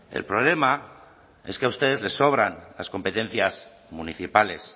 el problema es que a ustedes les sobran las competencias municipales